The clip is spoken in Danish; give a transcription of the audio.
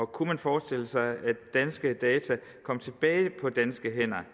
kunne forestille sig at danske data kom tilbage på danske hænder